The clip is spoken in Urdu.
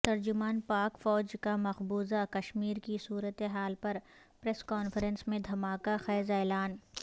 ترجمان پاک فوج کا مقبوضہ کشمیر کی صورتحال پر پریس کانفرنس میں دھماکہ خیز اعلان